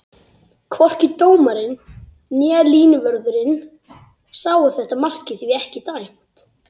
Hvorki dómarinn né línuvörðurinn sáu þetta og markið því ekki dæmt.